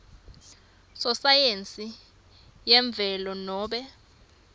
sosayensi yemvelo nobe